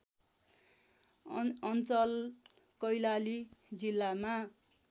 अञ्चल कैलाली जिल्लामा